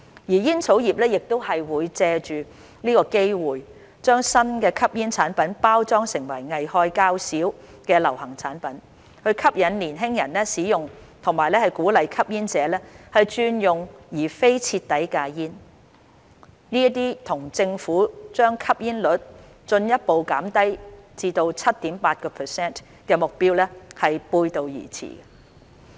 煙草業亦會借着這個機會，將新吸煙產品包裝成危害較少的流行產品，吸引年輕人使用和鼓勵吸煙者轉用而非徹底戒煙，這亦與政府將把吸煙率進一步減至 7.8% 的目標背道而馳。